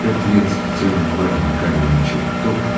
пять лет в специальном лагере каменные чертог